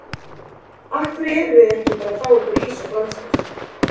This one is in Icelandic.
Af hverju erum við ekki bara að fá okkur ís og franskar?